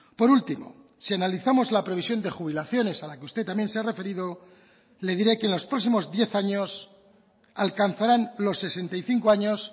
por último si analizamos la previsión de jubilaciones a la que usted también se ha referido le diré que en los próximos diez años alcanzarán los sesenta y cinco años